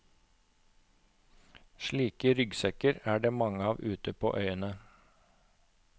Slike ryggsekker er det mange av ute på øyene.